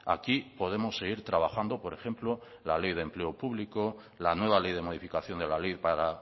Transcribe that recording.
aquí podemos seguir trabajando por ejemplo la ley de empleo público la nueva ley de modificación de la ley para